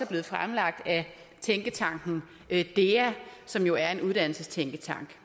blevet fremlagt af tænketanken dea som jo er en uddannelsestænketank